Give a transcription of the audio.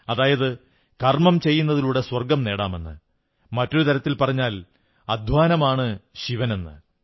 അതായത് കർമ്മം ചെയ്യുന്നതിലൂടെ സ്വർഗ്ഗം നേടാമെന്ന് മറ്റൊരു തരത്തിൽ പറഞ്ഞാൽ അദ്ധ്വാനമാണ് ശിവനെന്ന്